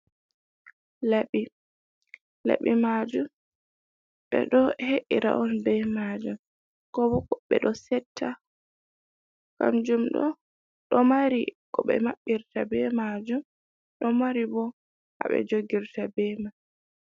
Laɓi, laɓi maajum ɓe ɗo he’ira on be maajum, kobo ɓe ɗo setta, kamjum ɗo ɗo mari ko ɓe maɓɓitra be maajum, ɗo mari ɓo haɓe jogirta be man.